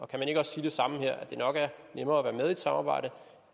kan man ikke også sige det samme her nemlig at det nok er nemmere at være med i et samarbejde